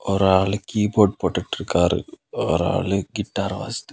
ஒரு ஆளு கீபோர்ட் போடுட்டு இருக்காரு ஒரு ஆளூ கிட்டார் வாசுத்--